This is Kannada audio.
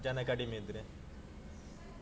ಜನ ಕಡಿಮೆ ಇದ್ರೆ.